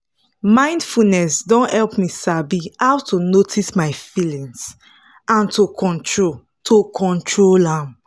mindfulness don help me sabi how to notice my feelings and to control to control am